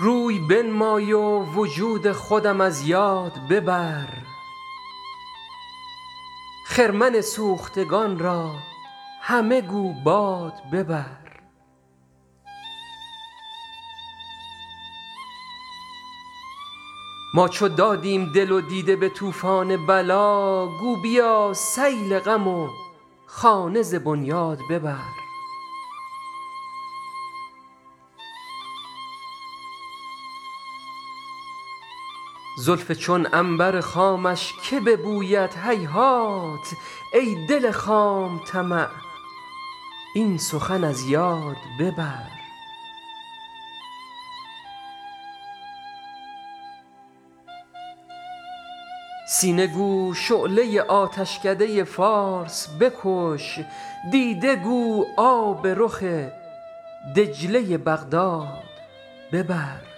روی بنمای و وجود خودم از یاد ببر خرمن سوختگان را همه گو باد ببر ما چو دادیم دل و دیده به طوفان بلا گو بیا سیل غم و خانه ز بنیاد ببر زلف چون عنبر خامش که ببوید هیهات ای دل خام طمع این سخن از یاد ببر سینه گو شعله آتشکده فارس بکش دیده گو آب رخ دجله بغداد ببر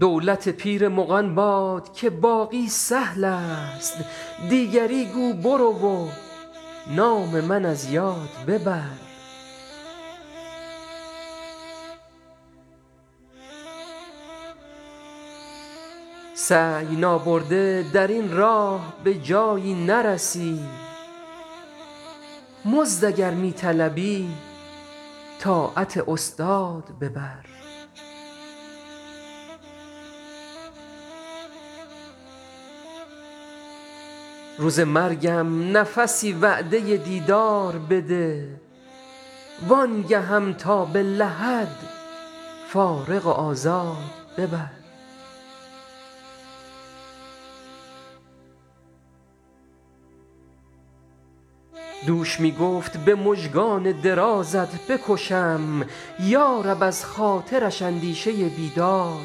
دولت پیر مغان باد که باقی سهل است دیگری گو برو و نام من از یاد ببر سعی نابرده در این راه به جایی نرسی مزد اگر می طلبی طاعت استاد ببر روز مرگم نفسی وعده دیدار بده وآن گهم تا به لحد فارغ و آزاد ببر دوش می گفت به مژگان درازت بکشم یا رب از خاطرش اندیشه بیداد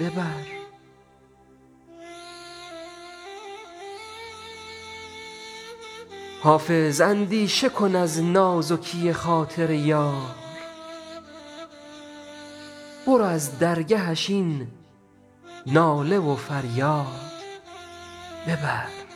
ببر حافظ اندیشه کن از نازکی خاطر یار برو از درگهش این ناله و فریاد ببر